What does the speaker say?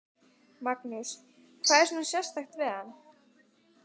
Magnús: Hvað er svona sérstakt við hann?